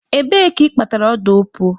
Ebee ka ị kpatara ọda opuo?